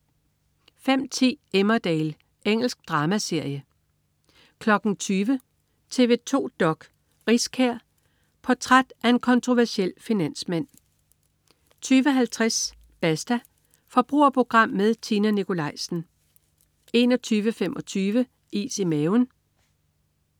05.10 Emmerdale. Engelsk dramaserie 20.00 TV 2 dok.: Riskær. Portræt af en kontroversiel finansmand 20.50 Basta. Forbrugerprogram med Tina Nikolaisen 21.25 Is i maven